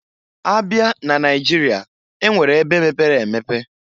Abịa n'Naịjịrịa, e nwere ebe mepere emepe.